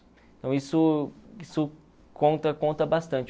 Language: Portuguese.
Então isso isso conta conta bastante.